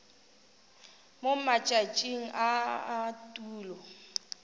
mo matšatšing a a tulo